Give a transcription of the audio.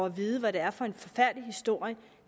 at vide hvad det er for en forfærdelig historie